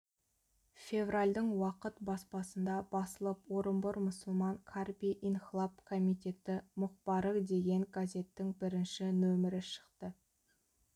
февральдың уақыт баспасында басылып орынбор мұсылман қарби инхлап комитеті мұқбары деген газеттің бірінші нөмірі шықты